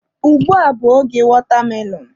Ugbua bụ oge watermelon.